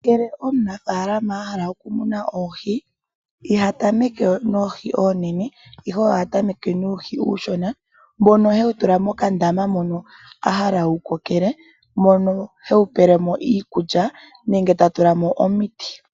Ngele omunafaalama ahala okumuna oohi ihatameke noohi oonene ihe oha tameke nuuhi uushona mbono hewu tula mokandama mono a hala wukokele mono hewu pelemo iikulya nenge tatulamo omiti .